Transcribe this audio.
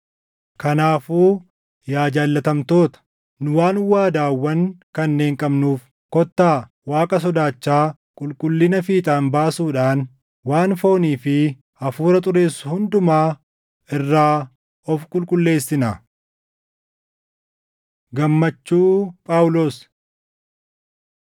Kanaafuu yaa jaallatamtoota, nu waan waadaawwan kanneen qabnuuf kottaa Waaqa sodaachaa qulqullina fiixaan baasuudhaan waan foonii fi hafuura xureessu hundumaa irraa of qulqulleessinaa. Gammachuu Phaawulos